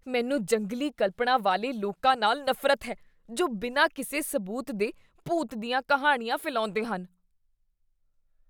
ਮੈਨੂੰ ਜੰਗਲੀ ਕਲਪਨਾ ਵਾਲੇ ਲੋਕਾਂ ਨਾਲ ਨਫ਼ਰਤ ਹੈ ਜੋ ਬਿਨਾਂ ਕਿਸੇ ਸਬੂਤ ਦੇ ਭੂਤ ਦੀਆਂ ਕਹਾਣੀਆਂ ਫੈਲਾਉਂਦੇ ਹਨ।